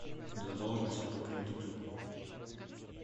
задолженности по кредиту